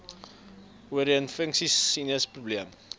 oorinfeksies sinus probleme